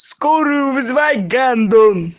скорую вызывай гандон